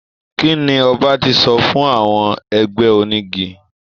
Kí ni ọba ti sọ fún àwọn ẹgbẹ́ onígi?